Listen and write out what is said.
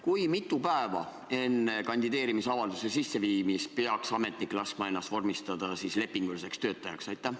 Kui mitu päeva enne kandideerimisavalduse sisseviimist peaks ametnik laskma ennast vormistada lepinguliseks töötajaks?